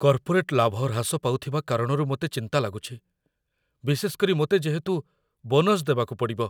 Corporate ଲାଭ ହ୍ରାସ ପାଉଥିବା କାରଣରୁ ମୋତେ ଚିନ୍ତା ଲାଗୁଛି, ବିଶେଷ କରି ମୋତେ ଯେହେତୁ ବୋନସ ଦେବାକୁ ପଡ଼ିବ।